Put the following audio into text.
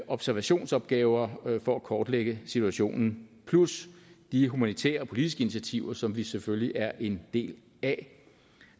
observationsopgaver for at kortlægge situationen plus de humanitære og politiske initiativer som vi selvfølgelig er en del af